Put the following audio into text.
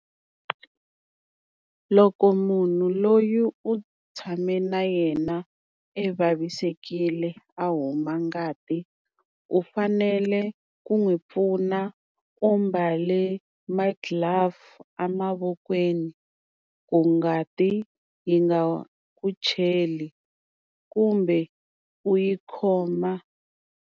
Loko munhu loyi u tshame na yena e vavisekile a huma ngati u fanele ku n'wi pfuna u mbale ma-glove a mavokweni ku ngati yi nga ku cheli kumbe u yi khoma.